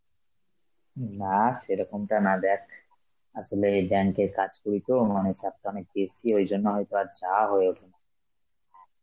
উম না, সেরকমতা না দেখ আসলে এই bank এর কাজ করি তো, মানে চাপটা অনেক বেশি ওই জন্য হয়তো আর যাওয়া হয়ে ওঠেনা.